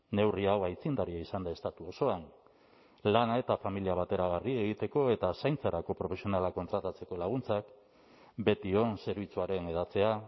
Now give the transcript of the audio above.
neurri hau aitzindaria izan da estatu osoan lana eta familia bateragarri egiteko eta zaintzarako profesionalak kontratatzeko laguntzak betion zerbitzuaren hedatzea